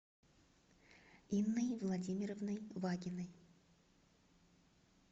инной владимировной вагиной